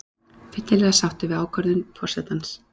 Fyllilega sáttur við ákvörðun forsetans